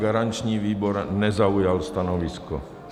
Garanční výbor nezaujal stanovisko.